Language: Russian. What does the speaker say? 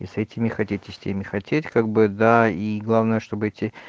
и с этими хотеть и с теми хотеть как бы да и главное чтобы эти